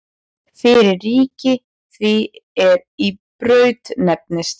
Fyrir ríki því er í Braut nefndist.